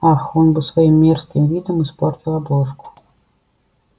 ах он бы своим мерзким видом испортил обложку